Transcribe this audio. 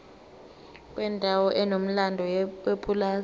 kwendawo enomlando yepulazi